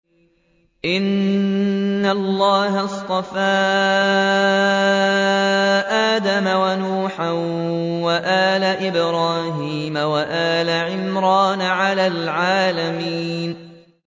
۞ إِنَّ اللَّهَ اصْطَفَىٰ آدَمَ وَنُوحًا وَآلَ إِبْرَاهِيمَ وَآلَ عِمْرَانَ عَلَى الْعَالَمِينَ